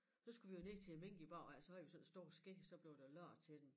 Så skulle vi jo ned til æ mink i æ baghave så havde vi sådan stor ske så blev der lavet til den